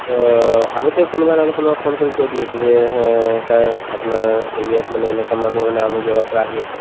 অ, আগতে কোনোবা নহলে কোনোবাই phone কৰি কৈ দি আছিলে যে এই সেই sir আপোনাৰ area ত মানে এনেকুৱা মানুহ মানে আমুক জাগাৰ পৰা আহি আছে